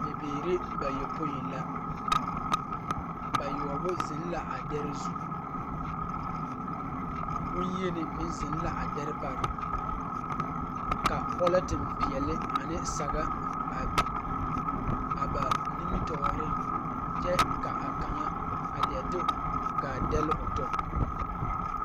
Bibiiri bayopoi la, bayoͻbo zeŋ la a dԑre zu. Boŋyeni meŋ zeŋ la a dԑre pare. Ka pͻlͻnteŋ peԑle ane saga a biŋ a ba nimitͻͻreŋ kyԑ ka a kaŋa a leԑ de gaa dԑlle o tͻ.